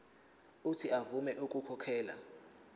uuthi avume ukukhokhela